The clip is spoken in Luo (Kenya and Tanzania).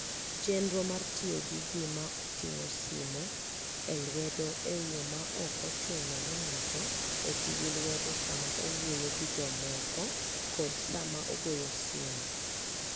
Chenro mar tiyo gi gima ting'o simo mar lwedo e yo ma ok ochuno ni ng'ato oti gi lwedo sama owuoyo gi jomoko kod sama ogoyo simu.